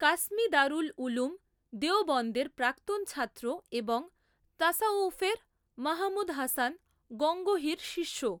কাসমী দারুল উলূম দেওবন্দের প্রাক্তন ছাত্র এবং তাসাউউফের মাহমুদ হাসান গঙ্গোহীর শিষ্য।